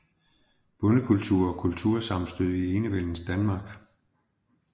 Bondekultur og kultursammenstød i enevældens Danmark